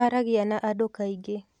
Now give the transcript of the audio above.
Aragia na andũ kaingĩ